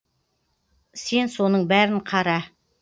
сен соның бәрін қара